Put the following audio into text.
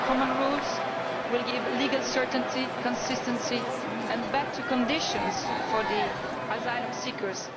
Common rules will give legal certainty, consistency and better conditions for asylum seekers.